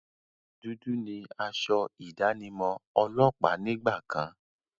Dúdú ni asọ ìdánimọ̀ ọlọ́pàá nígbà kan.